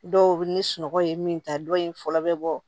Dɔw bɛ ni sunɔgɔ ye min ta dɔw ye fɔlɔ bɛ bɔ